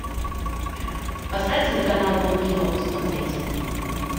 поставь телеканал дом кино посмотреть